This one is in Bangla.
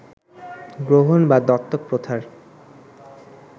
গ্রহণ বা দত্তক প্রথার